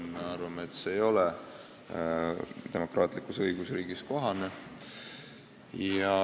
Me arvame, et see ei ole demokraatlikus õigusriigis kohane.